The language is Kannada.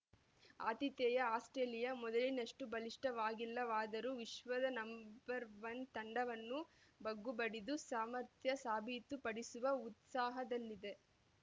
ಆತಿಥೇಯ ಆಸ್ಪ್ರೇಲಿಯಾ ಮೊದಲಿನಷ್ಟುಬಲಿಷ್ಠವಾಗಿಲ್ಲವಾದರೂ ವಿಶ್ವ ನಂಬರ್ ಒನ್ ತಂಡವನ್ನು ಬಗ್ಗುಬಡಿದು ಸಾಮರ್ಥ್ಯ ಸಾಬೀತು ಪಡಿಸುವ ಉತ್ಸಾಹದಲ್ಲಿದೆ